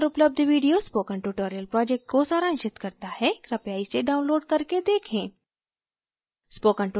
इस link पर उपलब्ध video spoken tutorial project को सारांशित करता है कृपया इसे download करके देखें